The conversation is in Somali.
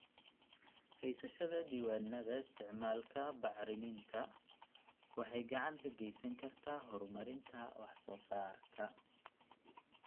Haysashada diiwaannada isticmaalka bacriminta waxay gacan ka geysan kartaa horumarinta wax soo saarka.